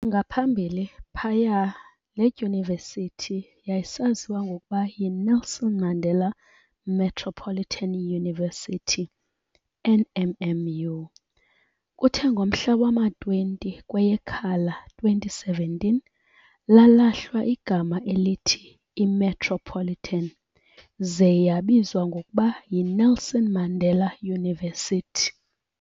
Ngaphambili phaya leDyunivesithi yayisaziwa ngokuba yi Nelson Mandela Metropolitan University, NMMU, kuthe ngomhla wama 20 kweyeKhala 2017 lalahlwa eligama i "Metropolitan" zee yabizwa ngokuba yi Nelson Mandela University.